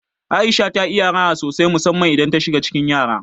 Aisha ta iya raha sosai musamman idan ta shiga cikin yara.